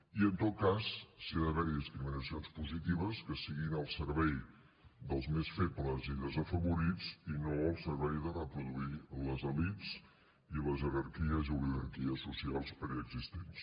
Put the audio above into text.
i en tot cas si ha d’haver hi discriminacions positives que siguin al servei dels més febles i desafavorits i no al servei de reproduir les elits i les jerarquies i oligarquies socials preexistents